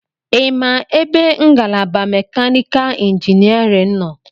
Ịma ebe ngalaba mekanikal injiniarin nọ?